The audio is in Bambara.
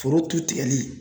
Foro tu tigɛli